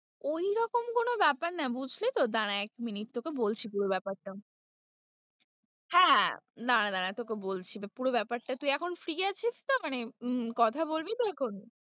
ওইরকম কোনো ব্যাপার না বুজলি তো, দাঁড়া এক minute তোকে বলছি পুরো ব্যাপারটা হ্যাঁ, দাঁড়া দাঁড়া তোকে বলছি পুরো ব্যাপারটা, তুই এখন free আছিস তো মানে কথা বলবি তো এখন?